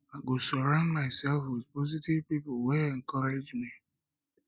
i go surround myself with positive pipo wey encourage me